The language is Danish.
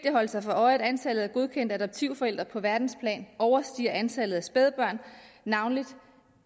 at holde sig for øje at antallet af godkendte adoptivforældre på verdensplan overstiger antallet af spædbørn navnlig